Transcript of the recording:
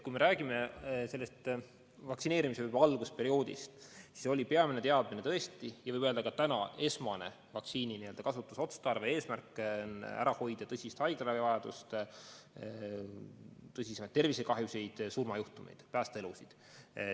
Kui me räägime vaktsineerimise algusperioodist, siis oli peamine teadmine tõesti ja võib öelda ka täna, et esmane vaktsiini n-ö kasutusotstarve ja eesmärk on ära hoida tõsise haiglaravi vajadust, tõsisemaid tervisekahjusid, surmajuhtumeid, päästa elusid.